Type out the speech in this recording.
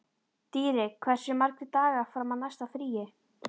Dýri, hversu margir dagar fram að næsta fríi?